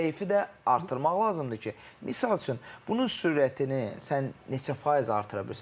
Zəifi də artırmaq lazımdır ki, misal üçün, bunun sürətini sən neçə faiz artıra bilərsən?